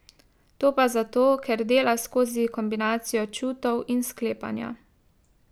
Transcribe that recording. To pa zato, ker dela skozi kombinacijo čutov in sklepanja.